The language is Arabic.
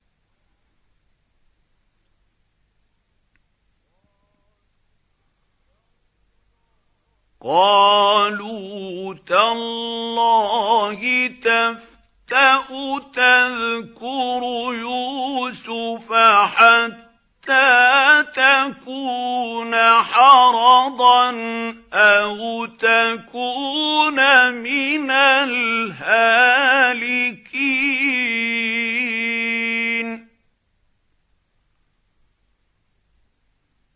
قَالُوا تَاللَّهِ تَفْتَأُ تَذْكُرُ يُوسُفَ حَتَّىٰ تَكُونَ حَرَضًا أَوْ تَكُونَ مِنَ الْهَالِكِينَ